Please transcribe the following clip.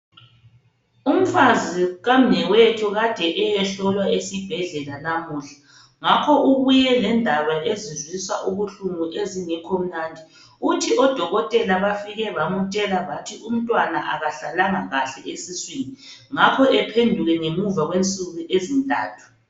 Umfazi kamnewethu kade eyehlolwa esibhedlela lamuhla. Ngakho ubuye lendaba ezizwisa ubuhlungu ezingekho mnandi. Uthi odokotela bafike bamtshela bathi umntwana kahlalanga kahle esiswini ngakho aphenduke ngemva kwensuku ezintathu.